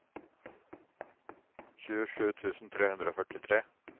tjuesju tusen tre hundre og førtitre